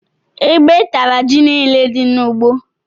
Ébé tara jị niile dị n'ugbó.